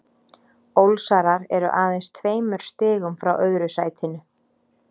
Ólsarar eru aðeins tveimur stigum frá öðru sætinu.